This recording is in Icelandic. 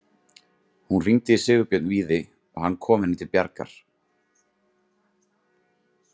Hún hringdi í Sigurbjörn Víði og hann kom henni til bjargar.